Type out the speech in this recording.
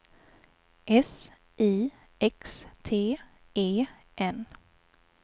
S I X T E N